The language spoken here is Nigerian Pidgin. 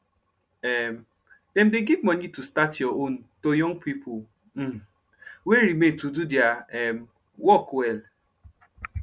um dem dey give moni to start ur own to young pipo um wey remain to do deir um work well